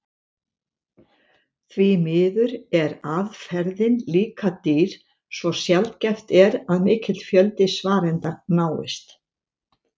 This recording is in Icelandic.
Því miður er aðferðin líka dýr svo sjaldgæft er að mikill fjöldi svarenda náist.